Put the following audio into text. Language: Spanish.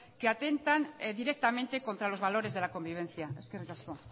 que atentan directamente contra los valores de la convivencia eskerrik asko